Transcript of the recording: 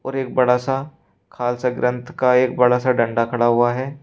और एक बड़ा सा खाल सा ग्रंथ का एक बड़ा सा डंडा खड़ा हुआ है।